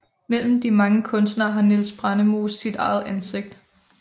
Mellem de mange kunstnere har Niels Brandemose sit eget ansigt